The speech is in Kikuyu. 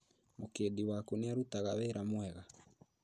Mũkĩndi waku nĩarutaga wĩra mwega